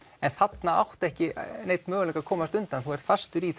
en þarna áttu ekki neinn möguleika að komast undan þú ert fastur í